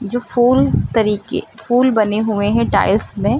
जो फूल तरीके फूल बने हुए हैं टाइल्स में --